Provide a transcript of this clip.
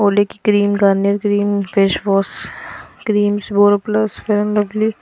की cream Garnier cream face wash creams Boroplus Fair and lovely